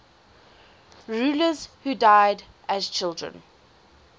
rulers who died as children